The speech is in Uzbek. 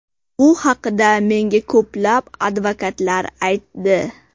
Bu haqida menga ko‘plab advokatlar aytdi.